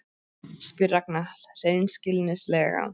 spyr Ragna hreinskilnislega.